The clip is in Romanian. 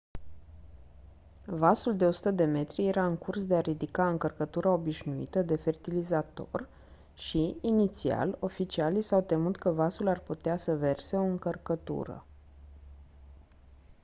vasul de 100 de metri era în curs de a ridica încărcătura obișnuită de fertilizator și inițial oficialii s-au temut că vasul ar putea să verse o încărcătură